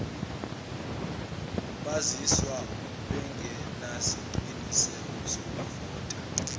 bazizwa bengenasiqiniseko sokuvota